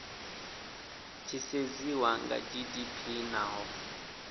tshi sedziwa kha gdp naho